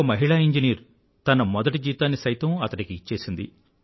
ఒక మహిళా ఇంజినీరు తన మొదటి జీతాన్ని సైతం అతడికి ఇచ్చేసింది